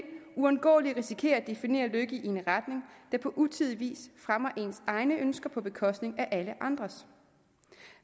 uundgåeligt risikere at definere lykke i en retning der på utidig vis fremmer ens egne ønsker på bekostning af alle andres